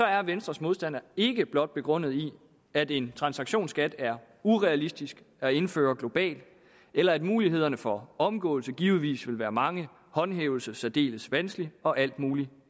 er venstres modstand ikke blot begrundet i at en transaktionsskat er urealistisk at indføre globalt eller at mulighederne for omgåelse givetvis vil være mange håndhævelse særdeles vanskelig og alt muligt